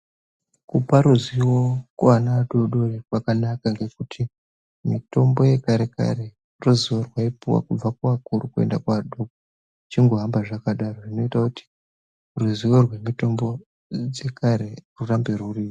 Kupa ruzivo kuana adodori kwakanaka ngekuti mutombo yekarekare ruzivo rwaipuwa kubva kuvakuru ruchienda kuadoko zvichingohamba zvakadaro zvinoita kuti ruzivo rwemitombo dzekare rurambe ruripo.